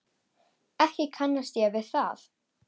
Ekki kannast ég við það.